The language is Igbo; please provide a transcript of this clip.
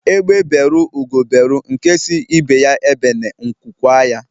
Egbe beru Ugo beru nke si ibe ya ebene nku kwaa